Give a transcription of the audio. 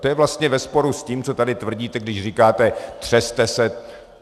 To je vlastně ve sporu s tím, co tady tvrdíte, když říkáte: Třeste se.